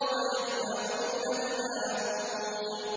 وَيَمْنَعُونَ الْمَاعُونَ